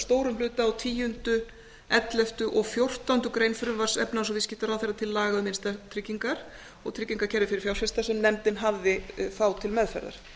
stórum hluta á tíunda ellefta og fjórtándu greinar frumvarps efnahags og viðskiptaráðherra til laga um innstæðutryggingar og tryggingakerfi fyrir fjárfesta sem nefndin hafði þá til meðferðar